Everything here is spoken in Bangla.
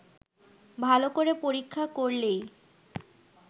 ভাল করে পরীক্ষা করলেই